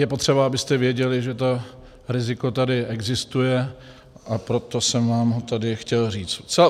Je potřeba, abyste věděli, že to riziko tady existuje, a proto jsem vám ho tady chtěl říct.